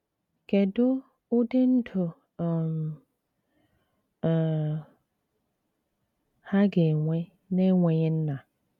Kedu ụdị ndụ um um ha ga-enwe n'enweghị nna?